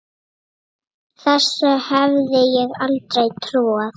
Þessu hefði ég aldrei trúað.